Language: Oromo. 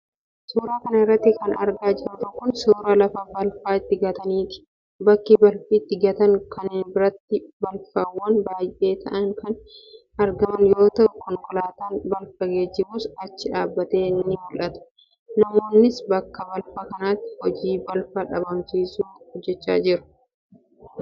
Suura kana irratti kan argaa jirru kun ,suura lafa balfa itti gataniiti. Bakki balfa itti gatan kana biratti balfawwan baay'ee ta'an kan argaman yoo ta'u, konkolaataan balfa geejjibus achi dhaabbatee ni mul'ata. Namoonnis, bakka balfaa kanatti hojii balfa dhabamsiisuu hojjachaa jiru.